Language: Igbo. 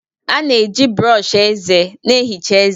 A na-eji brọsh eze na-ehicha ezé.